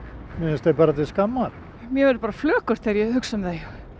mér finnst þau bara til skammar mér verður bara flökurt þegar ég hugsa um þau